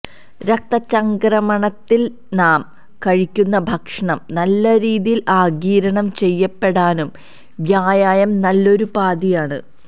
രക്തചംക്രമണത്തിനും നാം കഴിക്കുന്ന ഭക്ഷണം നല്ല രീതിയിൽ ആഗിരണം ചെയ്യപ്പെടാനും വ്യായാമം നല്ലൊരുപാധിയാണ്